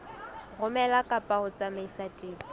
romela kapa ho tsamaisa tefo